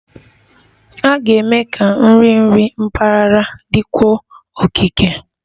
A ga-eme ka nri nri mpaghara dịkwuo okike